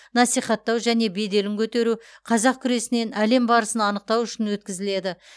насихаттау және беделін көтеру қазақ күресінен әлем барысын анықтау үшін өткізіледі